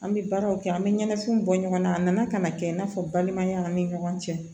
An bɛ baaraw kɛ an bɛ ɲɛnafinw bɔ ɲɔgɔn na a nana ka na kɛ i n'a fɔ balimaya ni ɲɔgɔn cɛ